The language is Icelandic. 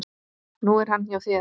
Nú er hann hjá þér.